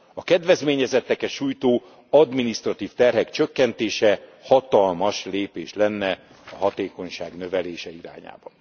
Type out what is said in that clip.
A kedvezményezetteket sújtó adminisztratív terhek csökkentése hatalmas lépés lenne a hatékonyság növelése irányában.